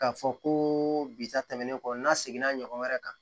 K'a fɔ ko bi ta tɛmɛnen kɔ n'a seginna ɲɔgɔn wɛrɛ kan